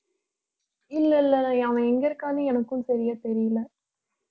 இல்ல இல்ல அவன் எங்க இருக்கான்னு எனக்கும் சரியா தெரியலை